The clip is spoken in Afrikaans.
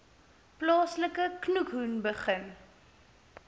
plaaslike khoekhoen begin